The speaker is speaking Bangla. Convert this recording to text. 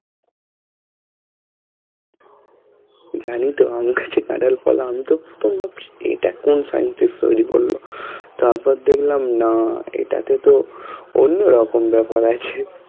জানিতো আম গাছে কাঁঠাল ফল আমিতো প্রথম ভাবছি এটা কোন scientist তৈরী করলো তারপর দেখলাম না এটা টেতো অন্যরকম ব্যাপার আছে